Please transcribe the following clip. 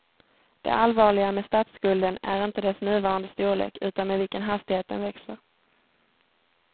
Det allvarliga med statsskulden är inte dess nuvarande storlek utan med vilken hastighet den växer.